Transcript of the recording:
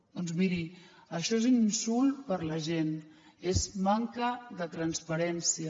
doncs miri això és un insult per a la gent és manca de transparència